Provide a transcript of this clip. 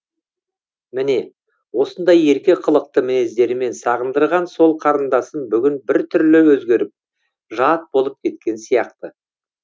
міне осындай ерке қылықты мінездерімен сағындырған сол қарындасым бүгін бір түрлі өзгеріп жат болып кеткен сияқты